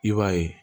I b'a ye